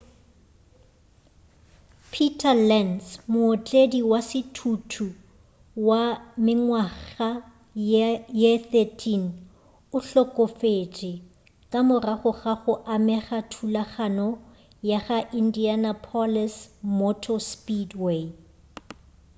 peter lenz mootledi wa sethuthutu wa mengwaga ye 13 o hlokofetše ka morago ga go amega thulanong go la indianapolis motor speedway